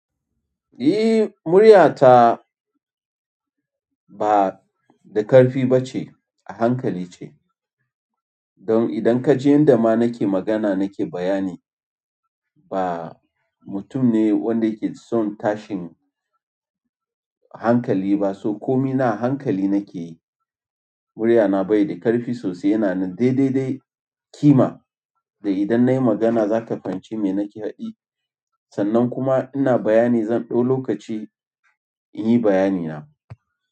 Eh, muryata ba da ƙarfi ba ce, a hankali ce. Don idan ka je inda ma nake magana nake bayani, ba mutum ne wanda yake son tashin hankali ba. So komai na hankali nake yi. Muryana bai da ƙarfi sosai yana na dai dai dai kima. Da idan nayi magana za ka fahimci me nake haɗi. Sannan kuma ina bayani zan ɗau lokaci in yi bayani na.